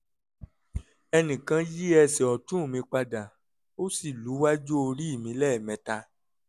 ẹnìkan yí ẹsẹ̀ ọ̀tún mi padà ó sì lu iwájú orí mi lẹ́ẹ̀mẹta